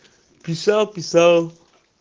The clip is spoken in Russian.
писал писал